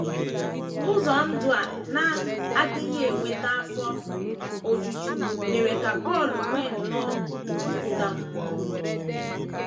Ụzọ ndụ a na - adịghị eweta afọ ojuju mere ka Paul nwee nnọọ nkụda mmụọ.